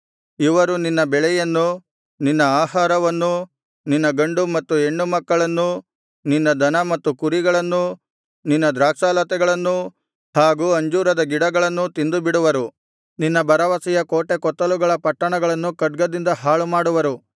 ಇವರು ನಿನ್ನ ಬೆಳೆಯನ್ನೂ ನಿನ್ನ ಆಹಾರವನ್ನೂ ನಿನ್ನ ಗಂಡು ಮತ್ತು ಹೆಣ್ಣುಮಕ್ಕಳನ್ನೂ ನಿನ್ನ ದನ ಮತ್ತು ಕುರಿಗಳನ್ನೂ ನಿನ್ನ ದ್ರಾಕ್ಷಾಲತೆಗಳನ್ನೂ ಹಾಗೂ ಅಂಜೂರದ ಗಿಡಗಳನ್ನೂ ತಿಂದುಬಿಡುವರು ನಿನ್ನ ಭರವಸೆಯ ಕೋಟೆಕೊತ್ತಲುಗಳ ಪಟ್ಟಣಗಳನ್ನು ಖಡ್ಗದಿಂದ ಹಾಳುಮಾಡುವರು